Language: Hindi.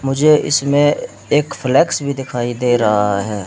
मुझे इसमें एक फ्लेक्स भी दिखाई दे रहा है।